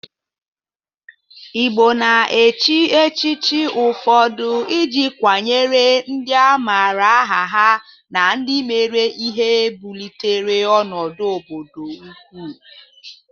Igbo na-echi echichi ụfọdụ ị ji kwanyere ndị amara aha ha na ndị mere ihe bulitere ọnụdụ obodo ugwu.